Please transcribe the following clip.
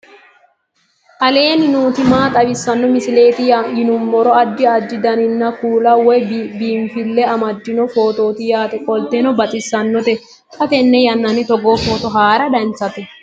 aleenni nooti maa xawisanno misileeti yinummoro addi addi dananna kuula woy biinfille amaddino footooti yaate qoltenno baxissannote xa tenne yannanni togoo footo haara danchate